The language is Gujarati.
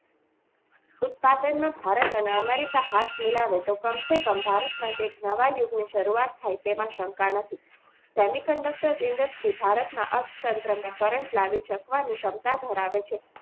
ઉત્પાદનમાં ભારત અને America હાથ મિલાવે તો કમસેકમ ભારત માટે એક નવા યુગની શરૂઆત થાય છે તેમાં શંકા નથી semiconductor industries છે તે ભારતના અર્થતંત્ર માં current લાવી શકવાની ક્ષમતા ધરાવે છે.